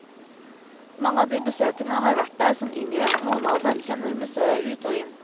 Mange av de besøkende har vært der som yngre, noen av dem kjenner museet ut og inn.